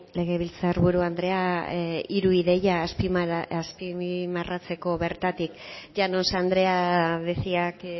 legebiltzar buru andrea hiru ideia azpimarratzeko bertatik llanos andrea decía que